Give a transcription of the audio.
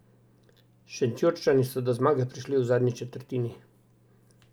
Šentjurčani so do zmage prišli v zadnji četrtini.